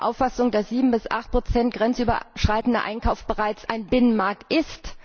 Sind Sie der Auffassung, dass 7 bis 8 grenzüberschreitender Einkauf bereits ein Binnenmarkt ist?